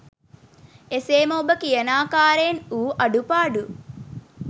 එසේම ඔබ කියනාකාරයෙන් වූ අඩු පාඩු